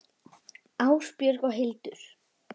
Ásbjörg og Hildur.